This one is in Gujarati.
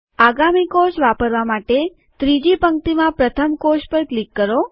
આગામી કોષ વાપરવા માટે ત્રીજી પંક્તિમાં પ્રથમ કોષ પર ક્લિક કરો